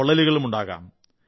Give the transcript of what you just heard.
പൊള്ളലുകളുമുണ്ടാകാം